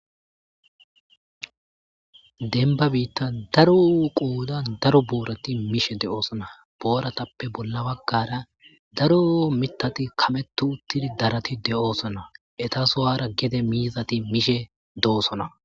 Denba biitta daro qoodan daro boorati mishe de7oosona booratappe bolla baggara daro mitati kametu uttidi darati de,oosona etasowara gede miizati mishe doosona